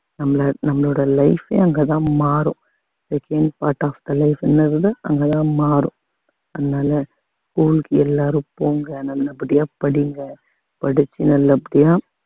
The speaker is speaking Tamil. நம்மள நம்மளோட life ஏ அங்கதான் மாறும் the change part of the life அங்கதான் மாறும் அதனால school க்கு எல்லாரும் போங்க நல்லபடியா படிங்க படிச்சு நல்லபடியா